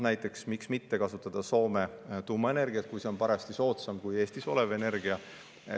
Näiteks, miks mitte kasutada Soome tuumaenergiat, kui see on parajasti soodsam kui Eestis olev energia.